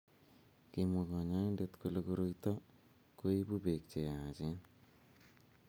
Kimwa kanyointet kole koroito koibuu beek che yaachen.